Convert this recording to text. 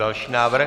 Další návrh.